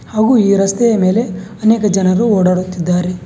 ಹಾಗು ಈ ರಸ್ತೆಯ ಮೇಲೆ ಅನೇಕ ಜನರು ಓಡಾಡುತ್ತಿದ್ದಾರೆ.